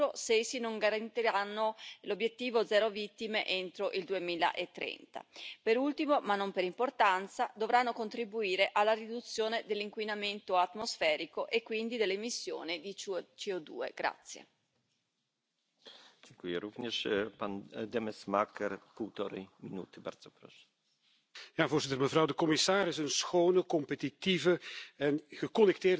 jest dostosowanie edukacji, kształcenia i odpowiedniego systemu zdobywania umiejętności do potrzeb zmieniającego się rynku. Dzięki temu pracownicy będą mogli z pewnością odnaleźć się w nowej sytuacji i nie będzie nadmiernej luki w kompetencjach. Myślę, że to jest bardzo ważne i na to musimy zwrócić szczególną uwagę.